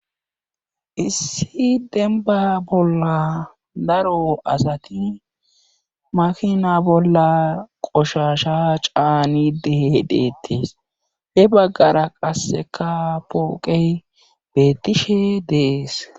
Issi dembba bolla daro asati makina bolla qoshashaa caanide deettes. he baggara qassika pooqe beettishe de7ees.